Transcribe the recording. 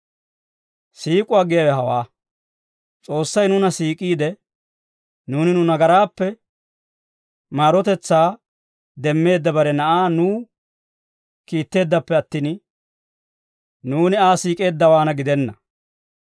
Siik'uwaa giyaawe hawaa; S'oossay nuuna siik'iide, nuuni nu nagaraappe maarotetsaa demmeedda bare Na'aa nuw kiitteeddappe attin, nuuni Aa siik'eeddawaanna gidenna.